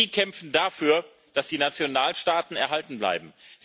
Sie kämpfen dafür, dass die Nationalstaaten erhalten bleiben.